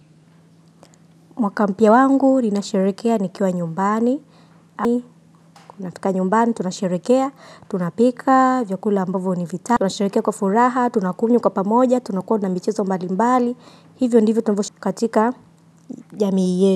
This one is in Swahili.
Mwaka mpya wangu, ninasherehekea nikiwa nyumbani. Kuna tika nyumbani, tunasherehekea, tunapika vyakula ambavyo ni vita tunasherehekea kwa furaha, tunakunywa kwa pamoja, tunakuwa na michezo mbalimbali. Hivyo ndivyo tunavyosh katika jamii ye.